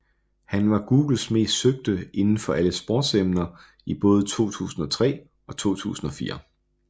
Han var Googles mest søgte inden for alle sportsemner i både 2003 og 2004